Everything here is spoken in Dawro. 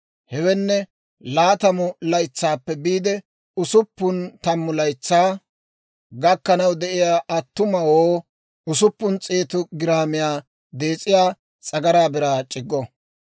Hewenne laatamu laytsaappe biide usuppun tammu laytsaa gakkanaw de'iyaa attumawoo usuppun s'eetu giraamiyaa dees'iyaa s'agaraa biraa c'iggo.